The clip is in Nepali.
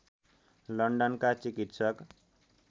लन्डन का चिकित्सक